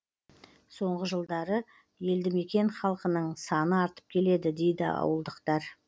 соңғы жылдары елді мекен халқының саны артып келеді дейді ауылдықтар